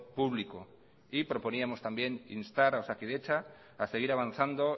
público y proponíamos también instar a osakidetza a seguir avanzando